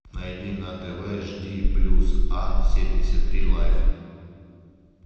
найди на тв жди плюс ан семьдесят три лайф